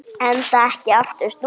Enda ekki aftur snúið.